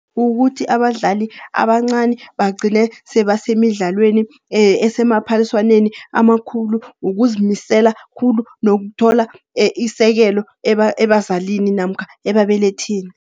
Ukuthi abadlali abancani bagcine sebasemidlalweni esemaphaliswaneni amakhulu, ukuzimisela khulu nokuthola isekelo ebazalini namkha ababelethini.